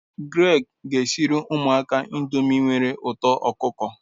Greg, gaa siere umuaka ndomi nwere uto okuko